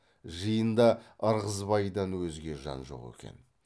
жиында ырғызбайдан өзге жан жоқ екен